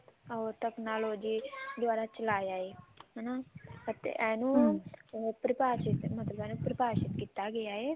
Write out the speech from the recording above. ਉਹ technology ਦਵਾਰਾ ਚਲਾਇਆ ਹੈ ਹਨਾ ਅਤੇ ਇਹਨੂੰ ਇਹਨੂੰ ਪ੍ਰਭਾਸ਼ਿਤ ਮਤਲਬ ਪ੍ਰਭਾਸ਼ਿਤ ਕੀਤਾ ਗਿਆ ਹੈ